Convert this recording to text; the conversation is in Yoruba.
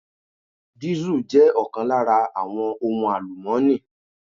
Diesel jẹ́ ọ̀kan lára àwọn ohun àlùmọ́ni.